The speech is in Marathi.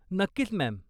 नक्कीच, मॅम.